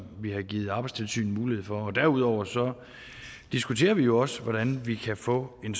vi har givet arbejdstilsynet mulighed for derudover diskuterer vi jo også hvordan vi kan få en